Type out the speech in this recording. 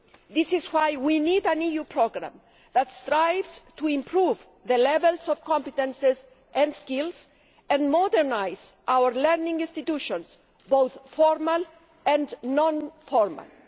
This is why we need an EU programme that strives to improve levels of competences and skills, and to modernise our learning institutions, both formal and informal.